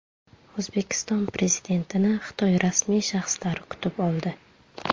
O‘zbekiston Prezidentini Xitoy rasmiy shaxslari kutib oldi.